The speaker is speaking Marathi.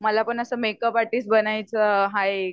मला पण असं मेकअपआरटिस्ट बनायच आहे